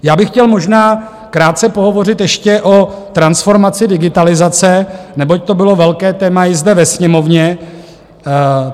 Já bych chtěl možná krátce pohovořit ještě o transformaci digitalizace, neboť to bylo velké téma i zde ve Sněmovně.